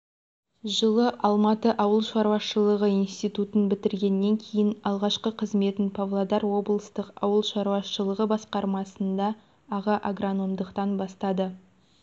жылы алматы ауыл шаруашылығы институтын бітіргеннен кейін алғашқы қызметін павлодар облыстық ауыл шаруашылығы басқармасында аға агрономдықтан бастады